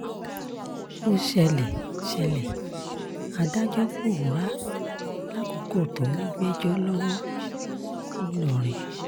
ó ṣẹlẹ̀ ṣẹlẹ̀ adájọ́ pọ̀órá lákòókò tó ń gbẹ́jọ́ lọ́wọ́ ńlọrọrin